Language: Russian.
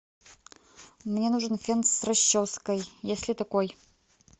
мне нужен фен с расческой есть ли такой